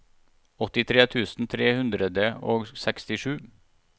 åttitre tusen tre hundre og sekstisju